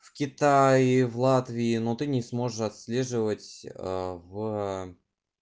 в китае в латвии но ты не сможешь отслеживать аа в